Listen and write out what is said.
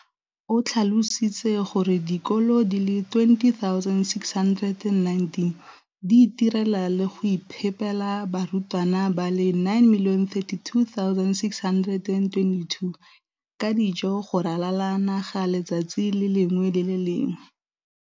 o tlhalositse gore dikolo di le 20 619 di itirela le go iphepela barutwana ba le 9 032 622 ka dijo go ralala naga letsatsi le lengwe le le lengwe.